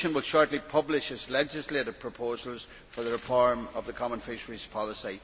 The Commission will shortly publish its legislative proposals for the reform of the common fisheries policy.